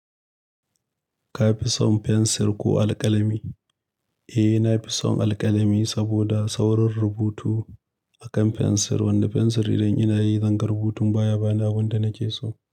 Ka fi son fensir ko alƙalami? Eh, na fi son alƙalami saboda saurin rubutu akan fensir, wanda fensir idan ina yi zanga rubutun baya bani abinda nake so.